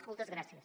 moltes gràcies